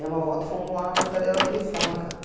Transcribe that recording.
Demo a volta e fomo lá na portaria da telefônica.